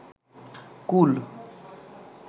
কুল